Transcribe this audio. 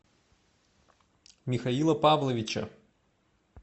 михаила павловича